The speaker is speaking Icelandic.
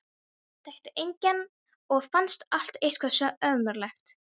Þekkti engan og fannst allt eitthvað svo ömurlegt.